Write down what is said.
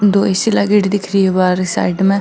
दो ए.सी. लागयोड़ी दिख रही है बाहरे साइड में।